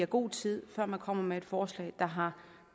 god tid før man kommer med et forslag der har